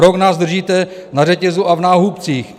Rok nás držíte na řetězu a v náhubcích.